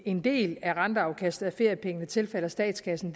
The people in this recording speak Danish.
en del af renteafkastet af feriepengene tilfalder statskassen